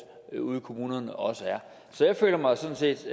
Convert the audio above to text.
ude i kommunerne også er så jeg føler mig sådan set